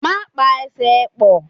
Má pa Ẹsẹ̀ ẹ pọ̀!